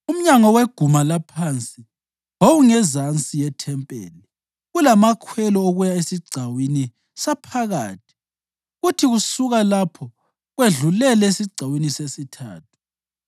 Umnyango weguma laphansi wawungezansi yethempeli; kulamakhwelelo okuya esigcawini saphakathi kuthi kusuka lapho kwedlulele esigcawini sesithathu.